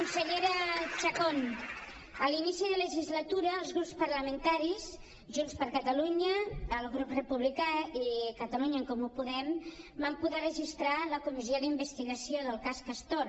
consellera chacón a l’inici de legislatura els grups parlamentaris junts per ca·talunya el grup republicà i catalunya en comú podem vam poder registrar la co·missió d’investigació del cas castor